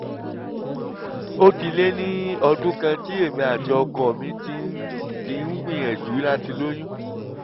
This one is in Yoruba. ó ti lé ní ọdún kan tí èmi àti ọkọ mi ti ń ti ń gbìyànjú láti lóyún